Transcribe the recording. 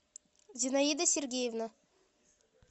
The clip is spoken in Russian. зинаида сергеевна